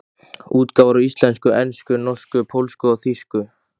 Útgáfur á íslensku, ensku, norsku, pólsku og þýsku.